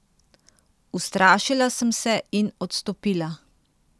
Ustrašila sem se in odstopila.